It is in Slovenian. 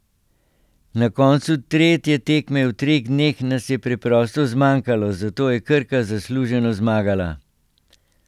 Na koncu tretje tekme v treh dneh nas je preprosto zmanjkalo, zato je Krka zasluženo zmagala.